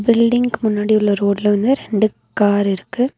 பில்டிங்க்கு முன்னாடி உள்ள ரோட்ல வந்து ரெண்டு கார் இருக்கு.